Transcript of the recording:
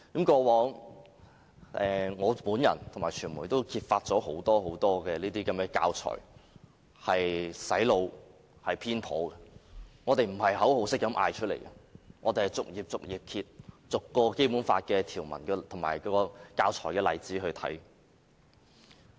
過往，我和傳媒也曾揭發這些教材很多都是用來"洗腦"和內容偏頗的，我們不是隨便喊口號的，而是逐頁翻開，逐項《基本法》條文和教材的例子來檢視的。